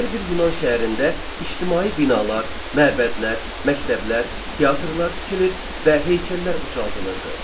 Hər bir Yunan şəhərində ictimai binalar, məbədlər, məktəblər, teatrlar tikilir və heykəllər ucaldılırdı.